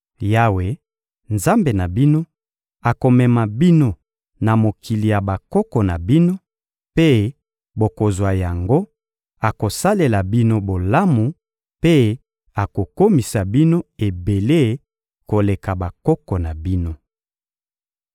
Yawe, Nzambe na bino, akomema bino na mokili ya bakoko na bino, mpe bokozwa yango; akosalela bino bolamu mpe akokomisa bino ebele koleka bakoko na bino.